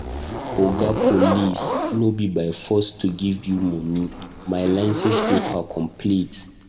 Oga Police no be by force to give you money, my license paper complete.